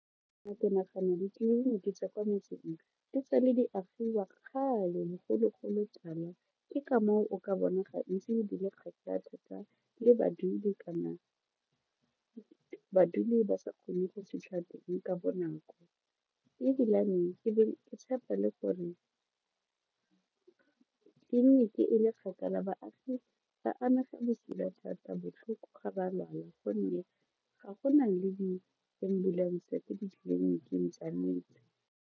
Ke nagana ditleleniki tsa kwa metseng di tsala di agiwa kgale bogologolotala ke ka moo o ka bona gantsi di le kgakala thata le badudi kana baduli ba sa kgone go fitlha teng ka bonako ebilane ke tshepa le gore clinic e le kgakala baagi ba amega bosula thata botlhoko ga ba lwala gonne ga go na le di ambulance ko ditleliniking tsa metse.